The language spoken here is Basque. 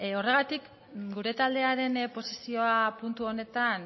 horregatik gure taldearen posizioa puntu honetan